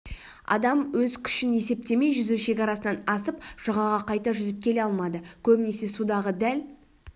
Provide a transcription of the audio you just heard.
адам өз күшін есептемей жүзу шекарасынан асып жағаға қайта жүзіп келе алмады көбінесе судағы дәл